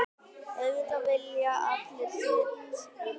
Auðvitað vilji allir sitt.